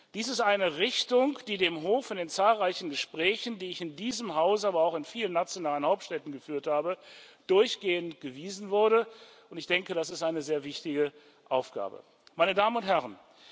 Dies ist eine Richtung, die dem Hof in den zahlreichen Gesprächen, die ich in diesem Haus, aber auch in vielen nationalen Hauptstädten geführt habe, durchgehend gewiesen wurde, und ich denke, das ist eine sehr wichtige Aufgabe. Meine Damen und Herren!